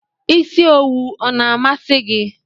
Isi owu ọ na amasi gị?